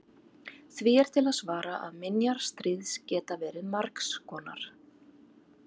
því er til að svara að minjar stríðs geta verið margs konar